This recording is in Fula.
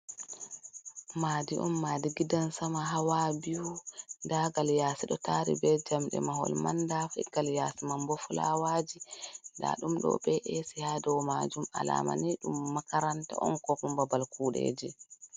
Madi on madi gidan Sama, hawa biyu, ndagal yasi ɗo tari be jamɗe mahol manda figal yasi man bo filawaji nda ɗum ɗo be’esi ha dow majum alamani ɗum makaranta on koku ma babal kuɗeji.